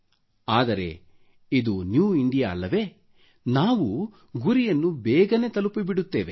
ಆದರೆ ಇದು new India ಅಲ್ಲವೆ ನಾವು ಗುರಿಯನ್ನು ಬೇಗನೆ ತಲುಪಿ ಬಿಡುತ್ತೇವೆ